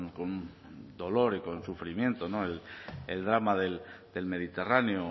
con dolor y con sufrimiento no el drama del mediterráneo